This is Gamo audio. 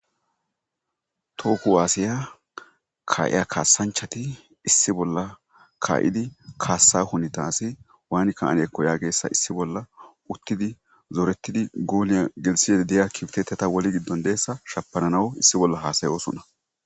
Toho kuwassiya kahiya kassanchchatti issi bolla ka'iddi kassa hunettayssi waani ka'annekko yagiyaysa issi bolla uttidi zorettidi goliya gelisidi de'iya kiftetiya wolli gido dizayssa shafananaw issi bolla hasa'ossonna.